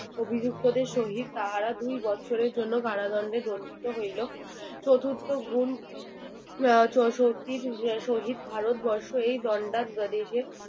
অভিযুক্তদের সহিত তাহারা দুই বছরের জন্য কারাদণ্ডে দন্ডিত হইলো চতুর্থ গুণ আহ সত্যি শহীদ ভারত বর্ষ এই দন্ডা স্বদেশে